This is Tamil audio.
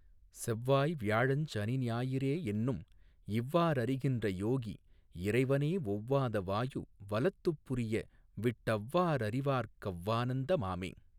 செவ்வாய் வியாழஞ் சனிஞாயிறேஎன்னும் இவ்வா ரறிகின்ற யோகி இறைவனே ஒவ்வாத வாயு வலத்துப்புரிய விட்டவ்வா றறிவார்க் கவ்வானந்தமாமே.